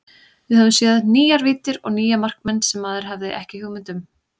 Við höfum séð nýjar víddir og nýja markmenn sem maður hafði ekki hugmynd um.